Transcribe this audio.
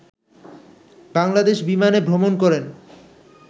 বাংলাদেশ বিমানে ভ্রমণ করেন